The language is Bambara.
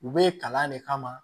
U bɛ kalan de kama